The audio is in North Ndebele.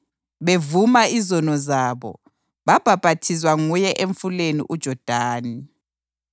Bevuma izono zabo, babhaphathizwa nguye emfuleni uJodani.